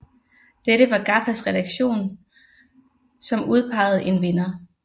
Dette var GAFFAs redaktion som udpegede en vinder